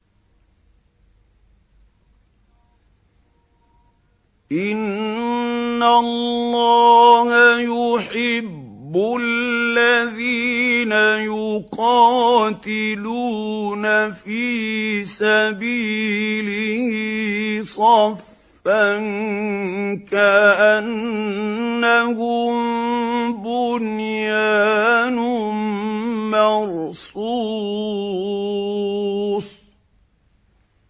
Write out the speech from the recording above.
إِنَّ اللَّهَ يُحِبُّ الَّذِينَ يُقَاتِلُونَ فِي سَبِيلِهِ صَفًّا كَأَنَّهُم بُنْيَانٌ مَّرْصُوصٌ